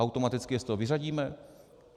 Automaticky je z toho vyřadíme?